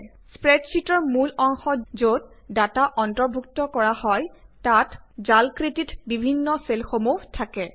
স্প্ৰেডশ্বিটৰ মূল অংশত যত ডাটা অন্তৰ্ভুক্ত কৰা হয় তাত জালাকৃতিত বিভিন্ন চেলসমূহ থাকে